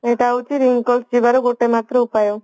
ଏଇଟା ହାଉଛି wrinkles ଯିବାର ଗୋଟେ ମାତ୍ର ଉପାୟ